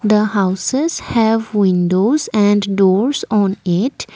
the houses have windows and doors on it.